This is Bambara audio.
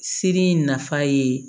Siri in nafa ye